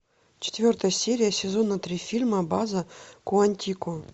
четвертая серия сезона три фильма база куантико